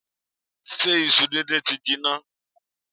Ṣé isu díndín ti jinná?